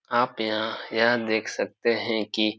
आप यहाँ यह देख सकते हैं कि --